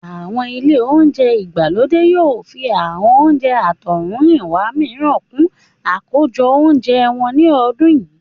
Àwọn ilé oúnjẹ ìgbàlódé yóò fi àwọn oúnjẹ àtọ̀húnrìnwá mìíràn kún àkójọ oúnjẹ wọn ní ọdún yìí